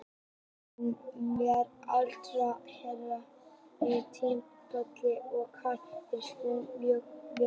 Hann verður áfram hérna á næsta tímabili og hann mun standa sig mjög vel þá.